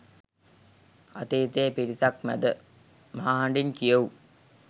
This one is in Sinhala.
අතීතයේ පිරිසක් මැද මහ හඬින් කියවූ